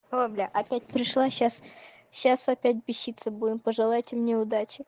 о бля опять пришла сейчас сейчас опять беситься будем пожелайте мне удачи